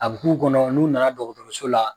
A b'u ku kɔnɔ n'u nana dɔgɔtɔrɔso la.